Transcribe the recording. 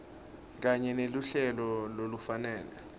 kanye neluhlelo lolufanele